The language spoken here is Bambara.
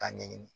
K'a ɲɛɲini